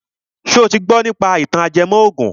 Ṣo ti gbọ nípa ìtàn ajẹmọ ògùn?